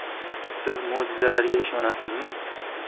Siz mo‘jizalarga ishonasizmi?